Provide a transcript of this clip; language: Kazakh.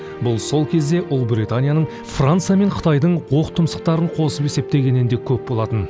бұл сол кезде ұлыбританияның франция мен қытайдың оқтұмсықтарын қосып есептегеннен де көп болатын